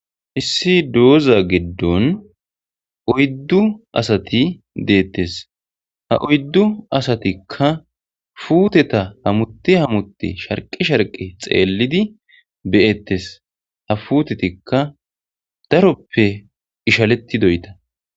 issi dooza giddon oyddu asati deettes, ha oyddu asatikka puuteta hamuti hamutei sharqi sharqi xeellidi be'ettes, ha puutetikka daroppe ishalettidoyta.